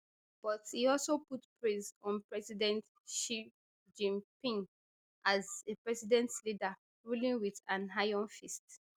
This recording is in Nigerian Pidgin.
but e also put praise on president xi jinping as a brilliant leader ruling wit an iron fist